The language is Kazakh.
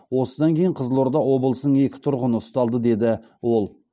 осыдан кейін қызылорда облысының екі тұрғыны ұсталды деді ол